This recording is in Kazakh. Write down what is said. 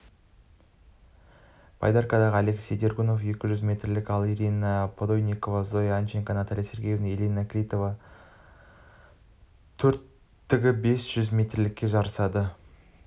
байдаркадағы алексей дергунов екі жүз метрлікте ал ирина подойникова зоя ананченко наталья сергеева инна клинова төрттігі бес жүз метрлікте жарысады